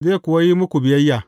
Zai kuwa yi muku biyayya.